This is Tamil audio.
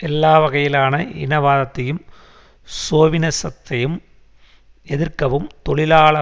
எல்லா வகையிலான இனவாதத்தையும் சோவினசத்தையும் எதிர்க்கவும் தொழிலாள